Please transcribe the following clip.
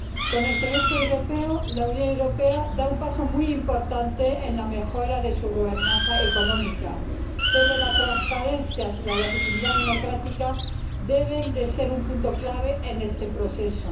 Con el Semestre Europeo la Unión Europea da un paso muy importante en la mejora de su gobernanza económica, pero la transparencia y la legitimidad democrática deben ser puntos clave en este proceso.